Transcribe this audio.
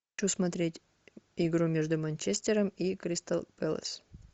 хочу смотреть игру между манчестером и кристал пэлос